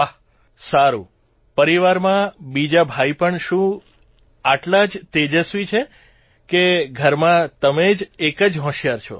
વાહ સારૂં પરિવારમાં બીજા ભાઇ પણ શું આટલા જ તેજસ્વી છે કે ઘરમાં તમે એક જ હોંશિયાર છો